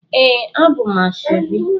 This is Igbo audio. Ee, abum asoebi